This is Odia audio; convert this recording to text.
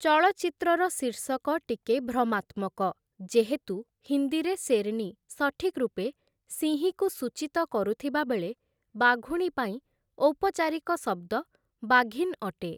ଚଳଚ୍ଚିତ୍ରର ଶୀର୍ଷକ ଟିକେ ଭ୍ରମାତ୍ମକ, ଯେହେତୁ ହିନ୍ଦୀରେ ଶେର୍‌ନି ସଠିକ୍ ରୂପେ ସିଂହୀକୁ ସୂଚିତ କରୁଥିବାବେଳେ ବାଘୁଣୀ ପାଇଁ ଔପଚାରିକ ଶବ୍ଦ ବାଘିନ୍ ଅଟେ ।